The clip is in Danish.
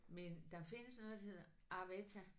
Men der findes noget der hedder arwetta